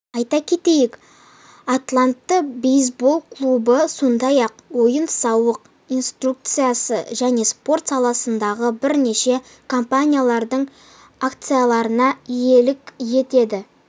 айта кетейік атланта бейсбол клубы сондай-ақ ойын-сауық индустриясы және спорт саласындағы бірнеше компаниялардың акцияларына иелік етеді